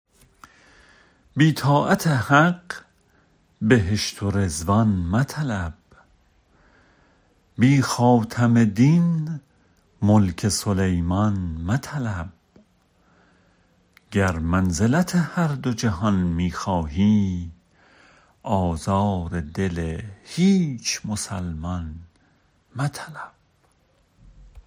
بی طاعت حق بهشت و رضوان مطلب بی خاتم دین ملک سلیمان مطلب گر منزلت هر دو جهان می خواهی آزار دل هیچ مسلمان مطلب